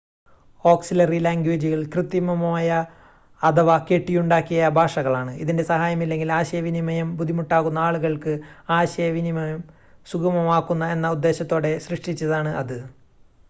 auxiliary ലാംഗ്വേജുകൾ കൃത്രിമമായ അഥവാ കെട്ടിയുണ്ടാക്കിയ ഭാഷകളാണ് ഇതിൻ്റെ സഹായം ഇല്ലെങ്കിൽ ആശയവിനിമയം ബുദ്ധിമുട്ടാകുന്ന ആളുകൾക്ക് ആശയവിനിമയം സുഗമമാക്കുക എന്ന ഉദ്ദേശ്യത്തോടെ സൃഷ്ടിച്ചതാണ് അത്